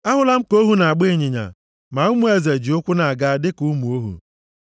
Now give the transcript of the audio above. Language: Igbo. Ahụla m ka ohu na-agba ịnyịnya, ma ụmụ eze ji ụkwụ na-aga dịka ụmụ ohu.